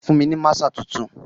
Fún mi ni maaṣer tuntun.